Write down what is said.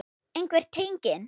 Einhver tenging?